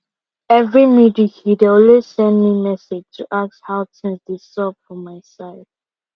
every midweek he dey always send me message to ask how things dey xup for my side